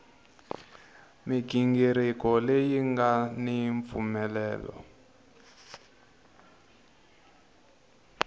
mighingiriko leyi nga ni mpfumelelo